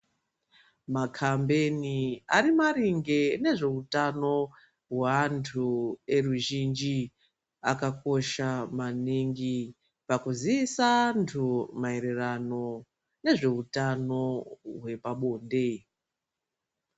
Makambeni ari maringe ngezveutano hwevantu veruzhinji akakosha maningi pakuziisa antu maererano nezveutano hwepabonde.